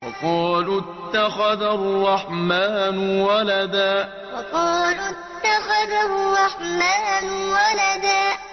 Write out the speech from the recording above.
وَقَالُوا اتَّخَذَ الرَّحْمَٰنُ وَلَدًا وَقَالُوا اتَّخَذَ الرَّحْمَٰنُ وَلَدًا